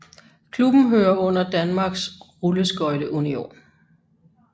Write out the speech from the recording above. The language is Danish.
Klubben hører under Danmarks Rulleskøjte Union